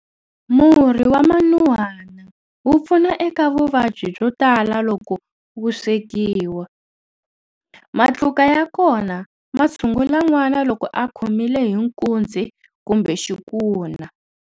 Murhi wa manuhana wu pfuna eka vuvabyi byo tala loko wu swekiwi. Matluka ya kona ma tshungula nwana loko a khomile hi nkuzi kumbe xikuna.